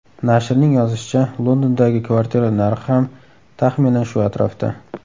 Nashrning yozishicha, Londondagi kvartiralar narxi ham, taxminan, shu atrofda.